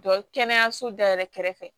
Jɔ kɛnɛyaso da yɛrɛ kɛrɛfɛ